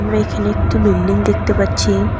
এইখানে একটি বিল্ডিং দেখতে পাচ্ছি।